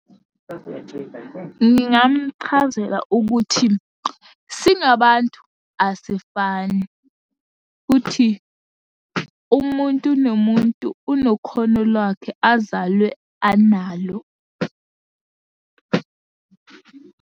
Ngingamchazela ukuthi, singabantu asifani, futhi umuntu nomuntu unekhono lwakhe azalwe analo.